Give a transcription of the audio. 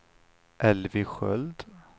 Elvy Sköld